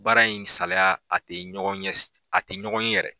Baara in ni salaya a tɛ ɲɔgɔn a tɛ ɲɔgɔn yɛrɛ.